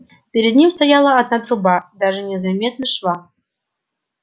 перед ним стояла одна труба даже не заметно шва